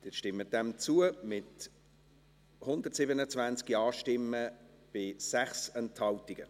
Sie stimmen dem zu, mit 127 Ja-Stimmen bei 6 Enthaltungen.